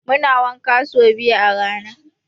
Muna wanka so biyu a rana.